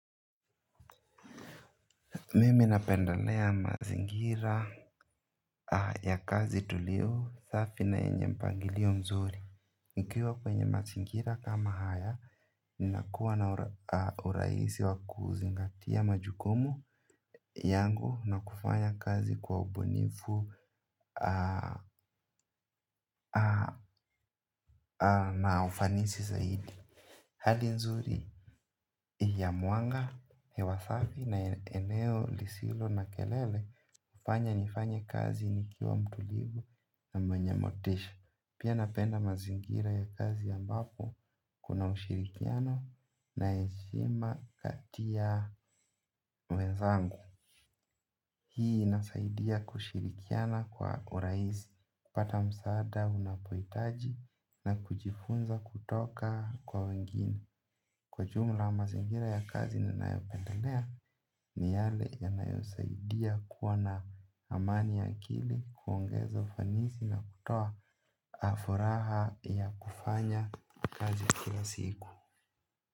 Mimi napendelea mazingira ya kazi tulio safi na yenye mpangilio mzuri. Nikiwa kwenye mazingira kama haya ninakuwa na urahisi wa kuzingatia majukumu yangu na kufanya kazi kwa ubunifu na ufanisi zaidi. Hali nzuri hii ya mwanga hewa safi na eneo lisilo na kelele fanya nifanye kazi nikiwa mtulivu na mwenye motisha. Pia napenda mazingira ya kazi ambapo kuna ushirikiano na heshima kati ya wenzangu. Hii inasaidia kushirikiana kwa urahisi, pata msaada, unapohitaji na kujifunza kutoka kwa wengine. Kwa jumla mazingira ya kazi ninayopendalea ni yale yanayosaidia kuwa na amani ya akili kuongeza ufanisi na kutoa furaha ya kufanya kazi kila siku.